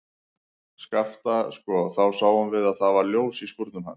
Skapta, sko, þá sáum við að það var ljós í skúrnum hans.